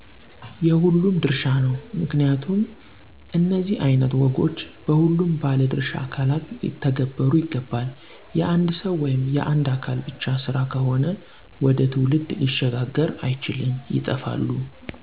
የሁሉም ድርሻ ነው። ምክንያቱም እነዚህ አይነት ወጎች በሁሉም ባለድሻ አካላት ሊተነበሩ ይገባል። የአንድ ሰዉ ወይም የአንድ አካል ብቻ ስራ ከሆነ ወደ ትውልድ ሊሸጋገር አይችልም ይጠፋሉ።